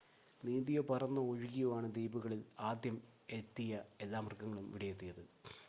നീന്തിയോ പറന്നോ ഒഴുകിയോ ആണ് ദ്വീപുകളിൽ ആദ്യം എത്തിയ എല്ലാ മൃഗങ്ങളും ഇവിടെയെത്തിയത്